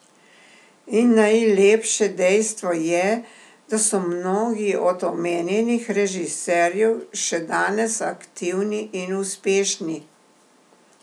In najlepše dejstvo je, da so mnogi od omenjenih režiserjev še danes aktivni in uspešni.